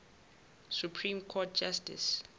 supreme court justice